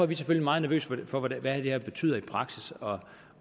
vi selvfølgelig meget nervøse for hvad det her betyder i praksis og